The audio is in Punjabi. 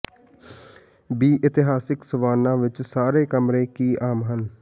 ਬੀ ਇਤਿਹਾਸਿਕ ਸਵਾਨਾ ਵਿੱਚ ਸਾਰੇ ਕਮਰੇ ਕੀ ਆਮ ਹਨ